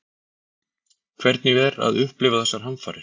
Hvernig er að upplifa þessar hamfarir?